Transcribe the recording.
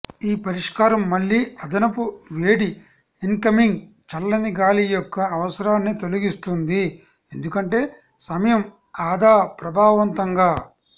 ఈ పరిష్కారం మళ్ళీ అదనపు వేడి ఇన్కమింగ్ చల్లని గాలి యొక్క అవసరాన్ని తొలగిస్తుంది ఎందుకంటే సమయం ఆదా ప్రభావవంతంగా